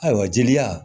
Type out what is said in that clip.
Ayiwa jeli la